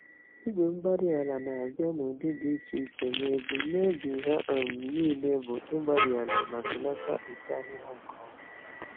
igwe-mgbárí-ala na-abịa n'ụdị dị iche iche, ma ebum nobi ha um nile bụ ịgbàri àlà ma belata uto ahịhịa nke ọma.